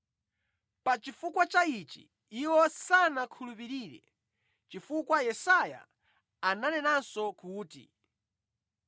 Pa chifukwa cha ichi iwo sanakhulupirire, chifukwa Yesaya ananenanso kuti: